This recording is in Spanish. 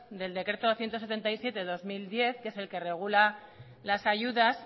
del decreto doscientos setenta y siete del dos mil diez que es el que regula las ayudas